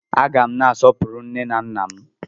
A gá m na-asọpụrụ nne na nna m